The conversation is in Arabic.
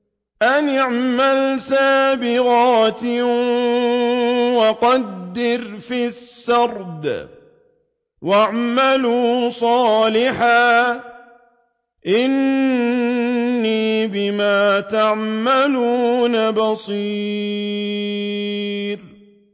أَنِ اعْمَلْ سَابِغَاتٍ وَقَدِّرْ فِي السَّرْدِ ۖ وَاعْمَلُوا صَالِحًا ۖ إِنِّي بِمَا تَعْمَلُونَ بَصِيرٌ